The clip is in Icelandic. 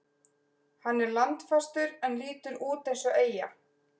Hann er landfastur en lítur út eins og eyja.